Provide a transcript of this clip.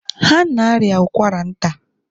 Ha na-arịa ụkwara nta.